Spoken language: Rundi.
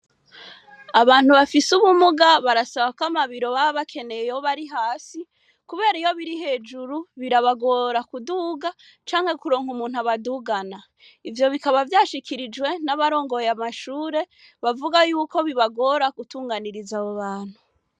Abantu bafise ubumuga baraba ko amabiro bsba bakeneye yoba ari hasi kubera iyo biri hejuru birabagora kuduga canke kuronka umuntu abadugana. Ivyo bikaba vyashikirijwe n'abarongoye amashure bavuga yuko bibagora gutunganiriza abobantu.